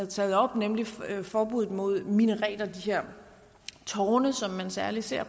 taget op nemlig forbuddet mod minareter de her tårne som man særlig ser